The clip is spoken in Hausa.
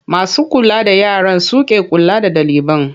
Masu kula da yaran su ke kula da ɗaliban.